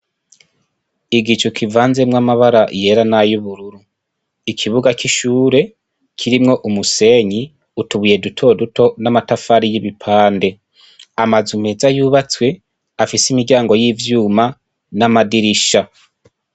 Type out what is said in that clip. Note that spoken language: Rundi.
Igicu kivanzemwo amabara yera n' ayubururu ikibuga c' ishure kirimwo umusenyi utubuye duto duto n' amatafari y' ibipande amazu meza yubatswe afise afise imiryango y' ivyuma n' amadirisha.